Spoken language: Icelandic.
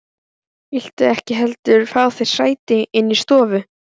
Viltu ekki heldur fá þér sæti inni í stofu?